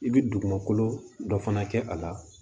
I bɛ dugumakolo dɔ fana kɛ a la